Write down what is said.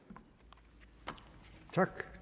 tak